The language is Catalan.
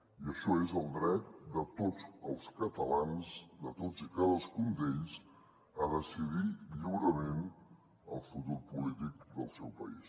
i això és el dret de tots els catalans de tots i cadascun d’ells a decidir lliurement el futur po·lític del seu país